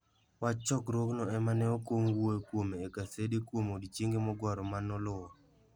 Wach chokruogno ema ne okwong wuo kuome e gasede kuom odiechienge mogwaro ma noluwo.